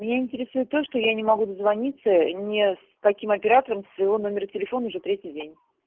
меня интересует то что я не могу дозвониться не с каким оператором со своего номера телефона уже третий день